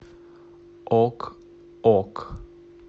ок ок